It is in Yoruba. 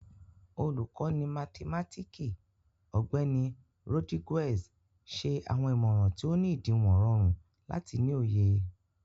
Olukọni mathimatiki, Ọgbẹni Rodriguez, ṣe awọn imọran ti o ni idiwọn rọrun lati ni oye.